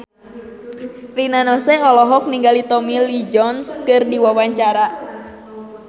Rina Nose olohok ningali Tommy Lee Jones keur diwawancara